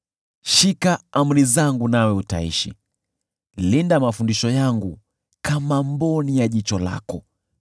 Shika amri zangu nawe utaishi; linda mafundisho yangu kama mboni ya jicho lako.